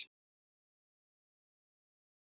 Dansað í Mjóddinni